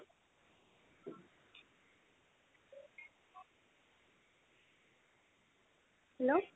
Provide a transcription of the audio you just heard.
hello